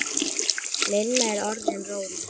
Lilla var orðin róleg.